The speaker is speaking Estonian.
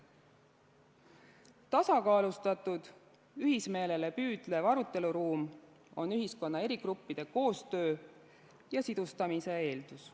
Tasakaalustatud, ühismeelele püüdlev aruteluruum on ühiskonna eri gruppide koostöö ja sidustamise eeldus.